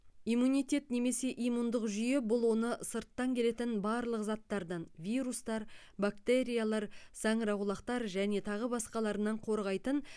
иммунитет немесе иммундық жүйе бұл оны сырттан келетін барлық заттардан вирустар бактериялар саңырауқұлақтар және тағы басқаларынан қорғайтын